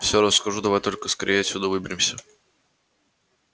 все расскажу давай только скорее отсюда выберемся